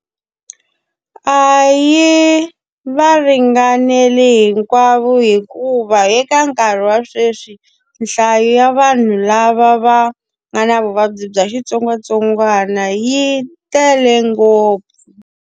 A yi va ringaneli hinkwavo hikuva eka nkarhi wa sweswi, nhlayo ya vanhu lava va nga na vuvabyi bya xitsongwatsongwana yi tele ngopfu.